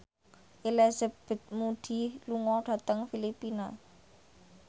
Elizabeth Moody lunga dhateng Filipina